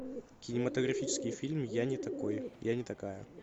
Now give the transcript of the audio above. кинематографический фильм я не такой я не такая